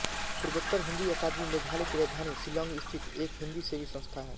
पूर्वोत्तर हिन्दी अकादमी मेघालय की राजधानी शिलांग स्थित एक हिन्दीसेवी संस्था है